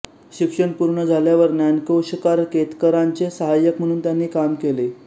शिक्षण पूर्ण झाल्यावर ज्ञानकोशकार केतकरांचे साहाय्य्क म्हणून त्यांनी काम केले